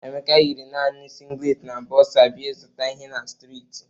Emeka yiri nani singlet na bọksa bia ịzụta ihe na streeti.